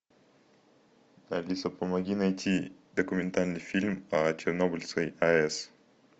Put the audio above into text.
алиса помоги найти документальный фильм о чернобыльской аэс